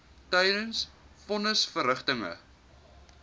tydens von nisverrigtinge